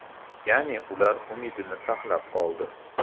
Ya’ni, ular umidni saqlab qoldi.